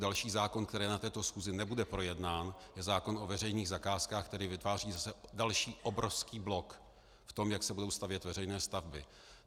Další zákon, který na této schůzi nebude projednán, je zákon o veřejných zakázkách, který vytváří zase další obrovský blok v tom, jak se budou stavět veřejné stavby.